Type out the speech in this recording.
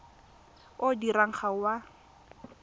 o dirwang ga o a